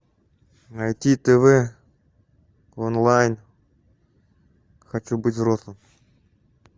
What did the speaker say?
найти тв онлайн хочу быть взрослым